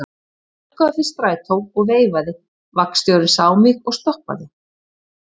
Ég stökk á eftir strætó og veifaði, vagnstjórinn sá mig og stoppaði.